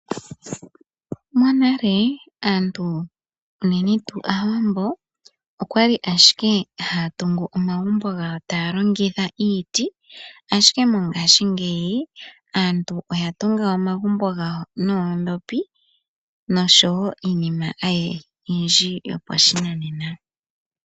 Monale, aantu unene tuu aawambo okwali ashike haya tungu omagumbo gawo taya longitha iiti, ashike mongaashingeyi aantu oya tunga omagumbo gawo noondhopi nosho wo iinima oyindji yopa shinanena.